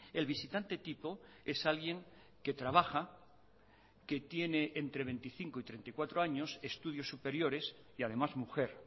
el visitante tipo es alguien que trabaja que tiene entre veinticinco y treinta y cuatro años estudios superiores y además mujer